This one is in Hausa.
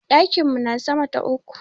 Ɗakin mu na sama ta uku.